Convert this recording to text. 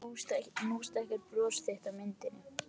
Nú stækkar bros þitt á myndinni.